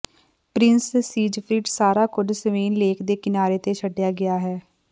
Prince Siegfried ਸਾਰਾ ਕੁੱਝ Swan Lake ਦੇ ਕਿਨਾਰੇ ਤੇ ਛੱਡਿਆ ਗਿਆ ਹੈ